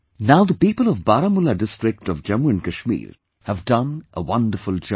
Now the people of Baramulla district of Jammu and Kashmir have done a wonderful job